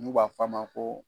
N'u b'a f'a ma ko